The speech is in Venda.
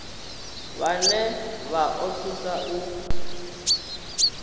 vhane vha o thusa u